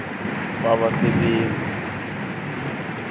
kwabasebenzi kutjho bonyana